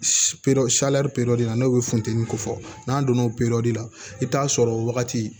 na n'o bɛ funteni ko fɔ n'an donna o la i bɛ taa sɔrɔ o wagati